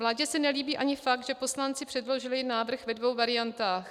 Vládě se nelíbí ani fakt, že poslanci předložili návrh ve dvou variantách.